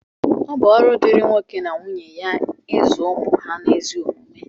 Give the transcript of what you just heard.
ọ bụ ọrụ dịịrị nwoke na nwunye ya ịzụ ụmụ ha n’ezi omume